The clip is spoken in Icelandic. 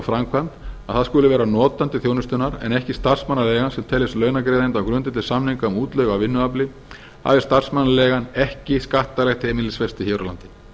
framkvæmd að það skuli vera notandi þjónustunnar en ekki starfsmannaleigan sem teljist launagreiðandi á grundvelli samninga um útleigu á vinnuafli hafi starfsmannaleigan ekki skattalegt heimilisfesti hér á landi